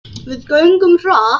Við göngum hratt.